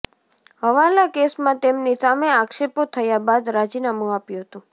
હવાલા કેસમાં તેમની સામે આક્ષેપો થયા બાદ રાજીનામુ આપ્યું હતું